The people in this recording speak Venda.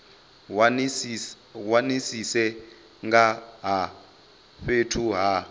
wanisise nga ha fhethu ha